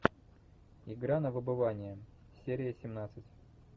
игра на выбывание серия семнадцать